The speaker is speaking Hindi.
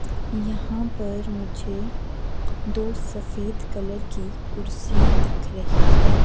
यहां पर मुझे दो सफेद कलर की कुर्सियां दिख रही है।